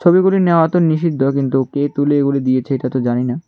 তুলিগুলি নেওয়া তো নিষিদ্ধ কিন্তু কে তুলি গুলি দিয়েছে এটা তো জানি না।